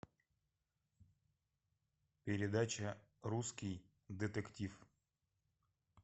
передача русский детектив